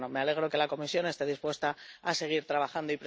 Pero bueno, me alegro de que la Comisión esté dispuesta a seguir trabajando.